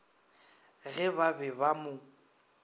ge ba be ba mo